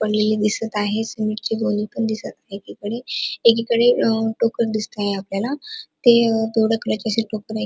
पडलेल दिसत आहे सिमेंटची गोणी पण दिसत आहे एकीकडे एकीकड टोकन दिसत आहे आपल्याला ते आहे.